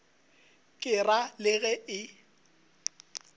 ke ra le ge e